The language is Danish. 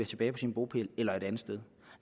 tilbage på sin bopæl eller et andet sted